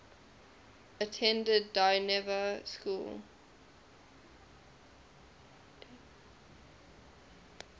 attended dynevor school